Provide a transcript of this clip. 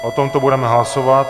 O tomto budeme hlasovat.